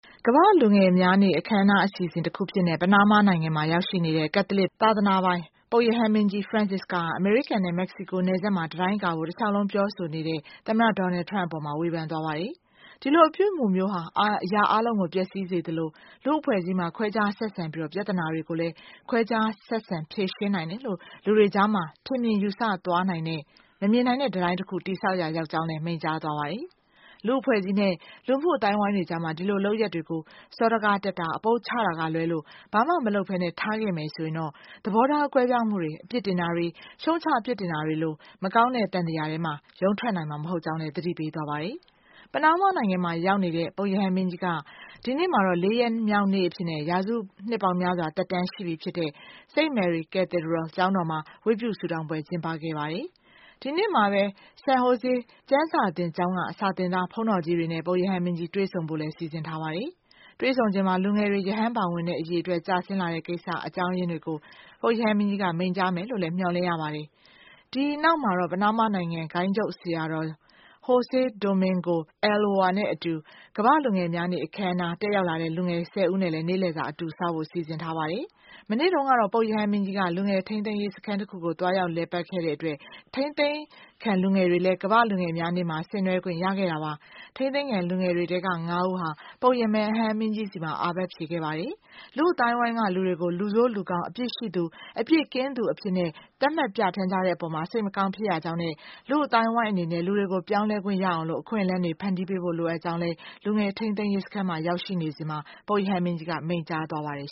ကမ္ဘာ့လူငယ်များနေ့ အခမ်းအနားအစီအစဉ်တခုအဖြစ် ပနားမားနိုင်ငံမှာ ရောက်နေတဲ့ ကက်သလစ် သာသာနာ ပိုင် ပုပ်ရဟန်းမင်းကြီး Francis က အမေရိကန်နဲ့ မက္ကစီကို နယ်စပ်မှာ တံတိုင်းကာဖို့ တလျှောက်လုံး ပြောဆို နေတဲ့ သမ္မတ Donald Trump အပေါ် ဝေဖန်လိုက်ပါတယ်။ ဒီလိုအပြုအမူမျိုးဟာ အရာအားလုံးကို ပျက်စီးစေသလို လူ့အဖွဲ့အစည်းမှာ ခွဲခြားဆက်ဆံပြီး ပြဿနာတွေကို လည်း ခွဲခြားဆက်ဆံ ဖြေရှင်းနိုင်တယ်လို့ လူတွေကြားမှာ ထင်မြင်ယူဆသွားနိုင်တဲ့ မမြင်နိုင်တဲ့ တံတိုင်းတခု တည်ဆောက်ရာ ရောက်ကြောင်းလည်း မိန့်ကြားခဲ့တာပါ။ လူ့အဖွဲ့အစည်းနဲ့ လူမှုအသိုင်းအဝန်းတွေကြား ဒီလို လုပ်ရပ်တွေကို စောဒကတက်တာ၊ အပုပ်ချတာကလွဲလို့ ဘာမှမလုပ်ဘဲထားခဲ့မယ်ဆိုရင် သဘောထား ကွဲပြားမှုတွေ၊ အပြစ်တင်တာတွေ၊ ရှုတ်ချပြစ်တင်တာတွေလို မကောင်းတဲ့ သံသရာထဲက ရုန်းထွက်နိုင်မှာ မဟုတ်ကြောင်းလည်း သတိပေးခဲ့ပါတယ်။ ပနားမားနိုင်ငံမှာ ရောက်နေတဲ့ ပုပ်ရဟန်းမင်းကြီးဟာ ဒီနေ့မှာတော့ ၄ ရက်နေ့မြောက် အဖြစ် ရာစုနှစ်ပေါင်း များစွာ သက်တမ်းရှိပြီဖြစ်တဲ့ St. Mary Cathedral ကျောင်းတော်မှာ ဝတ်ပြုဆုတောင်းပွဲ ကျင်းပခဲ့ပါတယ်။ ဒီနေ့မှာပဲ San Jose ကျမ်းစာသင်ကျောင်းက စာသင်သား ဘုန်းတော်ကြီးတွေနဲ့ ပုပ်ရဟန်းမင်းကြီး တွေ့ဆုံဖို့ လည်း စီစဉ်ထားတာပါ။ တွေ့ဆုံချိန်မှာ လူငယ်တွေ ရဟန်းဘောင်ဝင်တဲ့ အရေအတွက် ကျဆင်းလာတဲ့ကိစ္စနဲ့ အကြောင်းရင်းတွေကို ပုပ်ရဟန်းမင်းကြီးက မိန့်ကြားမယ်လို့လည်း မျှော်လင့်ရပါတယ်။ ဒီနောက်မှာတော့ ပနားမားနိုင်ငံ ဂိုဏ်းချုပ်ဆရာတော် Jose Domingo Ulloa နဲ့အတူ ကမ္ဘာ့လူငယ်များနေ့ အခန်းအနား တက်ရောက်လာကြတဲ့ လူငယ် ၁၀ ဦးနဲ့အတူ နေ့လည်စာစားဖို့လည်း စီစဉ်ထားပါတယ်။ မနေ့တုန်းကတော့ ပုပ်ရဟန်းမင်းကြီးဟာ လူငယ်ထိန်းသိမ်းရေး စခန်းတခုကို သွားရောက် လည်ပတ်ခဲ့တဲ့ အတွက် ထိန်းသိမ်းခံလူငယ်တွေလည်း ကမ္ဘာ့လူငယ် များနေ့မှာ ဆင်နွဲှခွင့် ရခဲ့ကြတာပါ။ ထိန်းသိမ်းခံ လူငယ်တွေထဲက ၅ ဦးဟာလည်း ပုပ်ရဟန်းမင်းကြီးထံမှာ အာပတ်ဖြေခဲ့ကြပါတယ်။ လူ့အသိုင်းအဝန်းက လူတွေကို လူဆိုး၊ လူကောင်း၊ အပြစ်ရှိသူ၊ အပြစ်ကင်းသူဆိုပြီး သတ်မှတ်ပြဌာန်းကြတဲ့ အပေါ် စိတ်မကောင်း ဖြစ်ရကြောင်းနဲ့ လူ့အသိုင်းအဝန်းအနေနဲ့ လူတွေကို ပြောင်းလဲခွင့်ရအောင် အခွင့်အလမ်း တွေ ဖန်တီးပေးဖို့ လိုအပ်ကြောင်းလည်း လူငယ်ထိန်းသိမ်းရေး စခန်းမှာရောက်ရှိစဉ် ပုပ်ရဟန်းမင်းကြီးက မိန့်ကြားခဲ့ပါတယ်